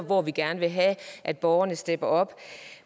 hvor vi gerne vil have at borgerne støtter op